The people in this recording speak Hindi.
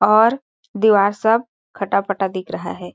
और दीवार सब खटा -पटा दिख रहा हैं।